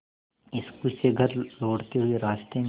school से घर लौटते हुए रास्ते में